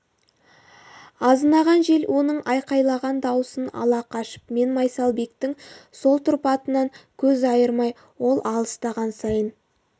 азынаған жел оның айқайлаған даусын ала қашып мен майсалбектің сол тұрпатынан көз айырмай ол алыстаған сайын